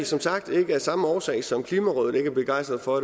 som sagt ikke af samme årsag som klimarådet ikke er begejstret for